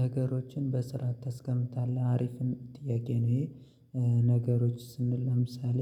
ነገሮችን በስርአ ተስቀምጣለህ አሪፍን ጥያቄ ነው። ነገሮች ስንል ለምሳሌ።